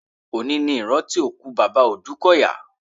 Òní ní ìrántí ikú bàbá Òdúkọ̀yà.